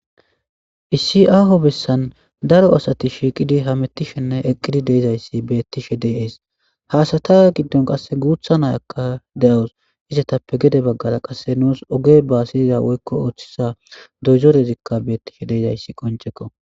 issi aaho bessan daro asati shiiqidi hamettishenne eqqidi deezayssi beettishe deeees haasata giddon qasse guutha nayakka de7awus izetappe gede baggara qasse nuus oge ba siyiza woykko ooththisa doyzorezikka beettishe deezayssi qoncekko